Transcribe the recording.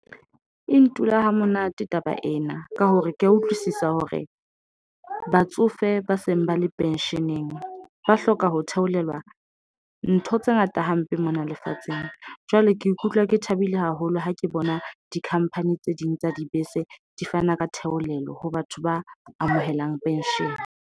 E ntula ha monate taba ena ka hore ke ya utlwisisa hore batsofe ba seng ba le pension-eng ba hloka ho theolelwa ntho tse ngata hampe ng mona lefatsheng. Jwale ke ikutlwa ke thabile haholo ha ke bona di company tse ding tsa dibese di fana ka theolelo ho batho ba amohelang pension.